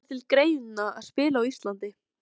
Kemur það til greina að spila á Íslandi?